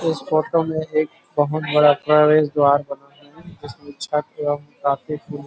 इस फोटो में एक बहुत बड़ा प्रवेश द्वार जिसमें छक एवं